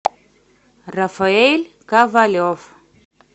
рафаэль ковалев